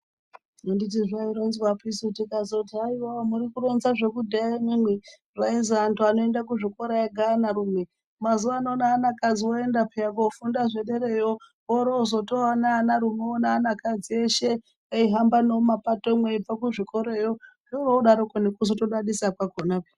Andizvo zvaironzwapisu, tikazoti haiwaa, muri kuronza zvakudhaya imwimwi, kwaizwi anthu anoenda kuzvikora ega anarume. Mazuwa ano neanakadzi oenda pheya koofunda zvedereyo. orootozowana anarume neanakadzi eshe, neihamba nemumapatomwo eibva kuzvikorayo, zvoroodaroko nekutozodadisa kwakhona pheya.